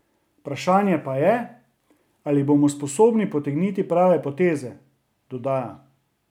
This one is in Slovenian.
Vprašanje pa je, ali bomo sposobni potegniti prave poteze, dodaja.